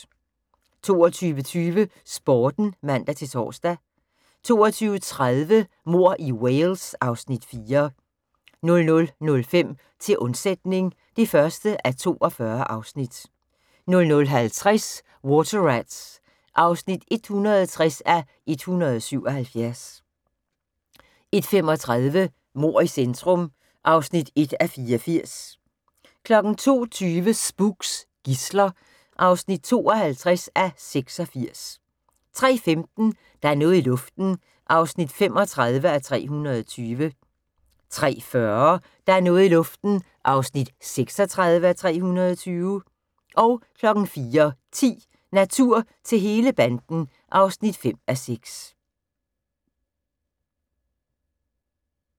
22:20: Sporten (man-tor) 22:30: Mord i Wales (Afs. 4) 00:05: Til undsætning (1:48) 00:50: Water Rats (160:177) 01:35: Mord i centrum (1:84) 02:20: Spooks: Gidsler (52:86) 03:15: Der er noget i luften (35:320) 03:40: Der er noget i luften (36:320) 04:10: Natur til hele banden (5:6)